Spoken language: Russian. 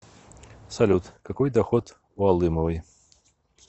салют какой доход у алымовой